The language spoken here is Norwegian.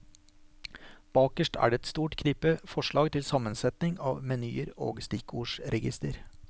Bakerst er det et stort knippe forslag til sammensetning av menyer og stikkordregister.